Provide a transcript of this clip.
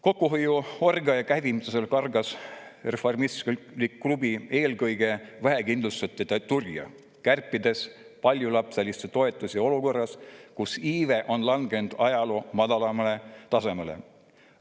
Kokkuhoiuorgia käivitamisel kargas reformistlik klubi eelkõige vähekindlustatute turja, kärpides paljulapseliste toetusi olukorras, kus iive on langenud ajaloo madalaimale tasemele.